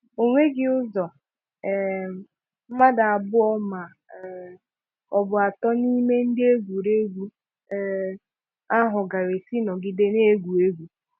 Onweghị ụzọ um mmadụ abụọ ma um ọ bụ atọ n'ime ndị egwuregwu um ahụ gaara esi nọgide na-egwu egwu.